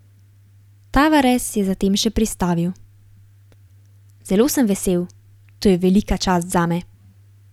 Tavares je zatem še pristavil: "Zelo sem vesel, to je velika čast zame.